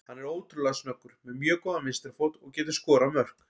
Hann er ótrúlega snöggur, með mjög góðan vinstri fót og getur skorað mörk.